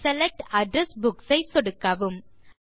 select address books ஐ சொடுக்கவும்